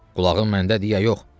Qulağın məndədir ya yox?